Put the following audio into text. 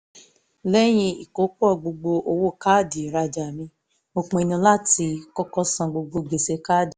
lẹ́yìn ìkópọ̀ gbogbo owó káàdì rajà mi mo pinnu láti kọ́kọ́ san gbogbo gbèsè káàdì